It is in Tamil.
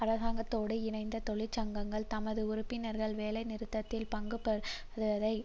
அரசாங்கத்தோடு இணைந்த தொழிற்சங்கங்கள் தமது உறுப்பினர்கள் வேலைநிறுத்தத்தில் பங்குபற்றுவதை